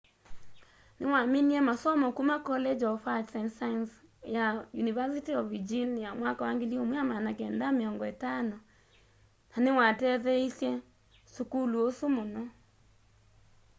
niwaminie masomo kuma college of arts and sciences ya university of virginia mwaka wa 1950 na niwatetheeasya sukulu ũu mũno